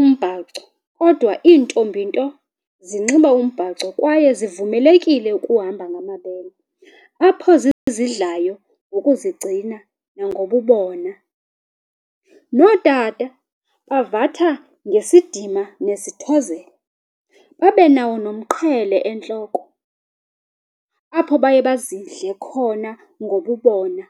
umbhaco kodwa iintombi nto zinxiba umbhaco kwaye zivumelekile ukuhamba ngamabele, apho zizidlayo ngokuzigcina nangobubona. Nootata bavatha ngesidima nesithozelo, babenawo nomqhele entloko apho baye bazidle khona ngobubona.